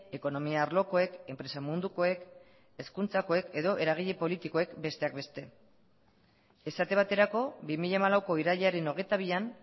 ekonomia arlokoek enpresa mundukoek hezkuntzakoek edo eragile politikoek besteak beste esate baterako bi mila hamalauko irailaren hogeita bian